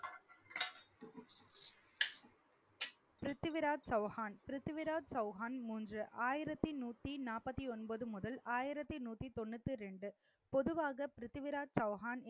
பிரித்திவிராஜ் சௌஹான் பிரித்திவிராஜ் சௌஹான் மூன்று ஆயிரத்தி நூத்தி நாற்பத்தி ஒன்பது முதல் ஆயிரத்தி நூத்தி தொண்ணூத்தி ரெண்டு பொதுவாக பிரித்திவிராஜ் சௌகான்